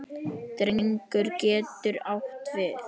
Drengur getur átt við